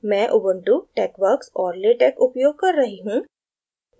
मैं ubuntu texworks और latex उपयोग कर रही हूँ